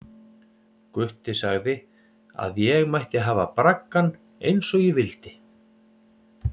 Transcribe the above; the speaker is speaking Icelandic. Gutti sagði að ég mætti hafa braggann eins og ég vildi.